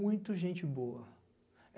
muito gente boa.